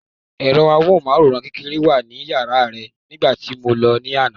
Ẹ̀rọ amóhùnmáwòrán kékeré wà ní yàrá rẹ̀ nígbà tí mo lọ ní àná.